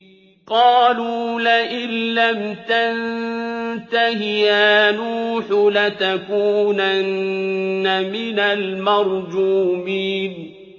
قَالُوا لَئِن لَّمْ تَنتَهِ يَا نُوحُ لَتَكُونَنَّ مِنَ الْمَرْجُومِينَ